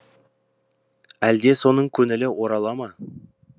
әлде соның көңілі орала ма